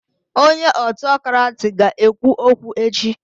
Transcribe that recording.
Onye Autokrati ga ekwu okwu echi